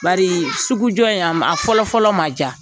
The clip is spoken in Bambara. Bari, sugujɔ in a fɔlɔ fɔlɔ man diya.